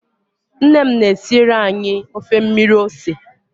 Nne m na-esiere anyị ofe mmiri ose